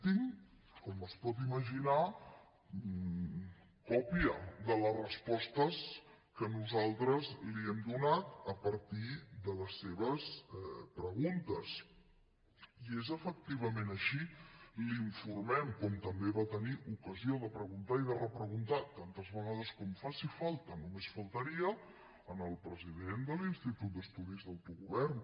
tinc com es pot imaginar còpia de les respostes que nosaltres li hem donat a partir de les seves preguntes i és efectivament així l’informem com també va tenir ocasió de preguntar i de repreguntar tantes vegades com faci falta només faltaria al president de l’institut d’estudis d’autogovern